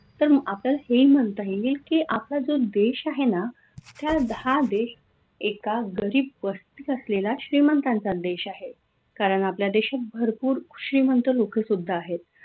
तर मग आपल्याला हे म्हनता येईल की, आपला जो देश आहे ना त्या हा देश एका गरीब वस्तीत असलेला श्रीमंतांचा देश आहे कारन आपल्या देशात भरपूर श्रीमंत लोक सुद्धा आहेत.